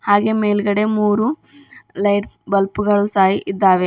ಹಾಗೆ ಮೇಲ್ಗಡೆ ಮೂರು ಲೈಟ್ಸ್ ಬಲ್ಬ್ ಗಳು ಸಹ ಇದ್ದಾವೆ.